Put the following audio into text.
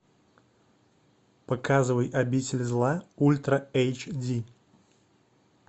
показывай обитель зла ультра эйч ди